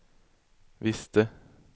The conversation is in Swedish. visste